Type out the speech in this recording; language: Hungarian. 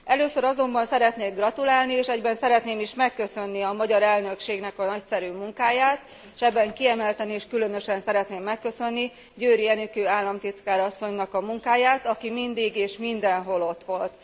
Először azonban szeretnék gratulálni és egyben szeretném is megköszönni a magyar elnökségnek a nagyszerű munkáját, és ebben kiemelten és különösen szeretném megköszönni Győri Enikő államtitkár asszonynak a munkáját, aki mindig és mindenhol ott volt.